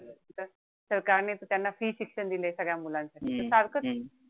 सरकारने तर त्यांना free शिक्षण दिलंय सगळ्या मुलांसाठी. सारखच आहे.